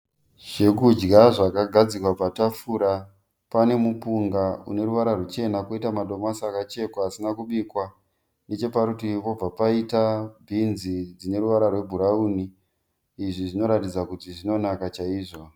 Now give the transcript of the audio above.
Zvekudya zvakagadzikwa patafura. Pane mupunga une ruvara ruchena kwoita madomasi akachekwa asina kubikwa. Necheparutivi pobva paita bhinzi dzine ruvara rwe bhurawuni. Izvi zvinoratidza kuti zvinonaka chaizvo.